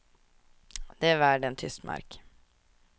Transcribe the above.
Den är värd en tysk mark.